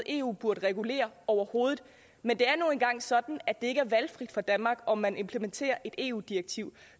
eu burde regulere overhovedet men det er nu engang sådan at det ikke er valgfrit for danmark om vi vil implementere et eu direktiv